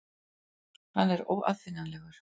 Hann er óaðfinnanlegur.